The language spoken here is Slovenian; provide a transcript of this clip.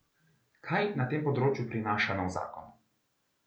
Kaj na tem področju prinaša nov zakon?